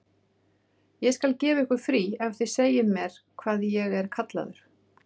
Ég skal gefa ykkur frí ef þið segið mér hvað ég er kallaður.